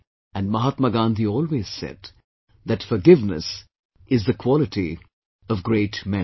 And Mahatma Gandhi always said, that forgiveness is the quality of great men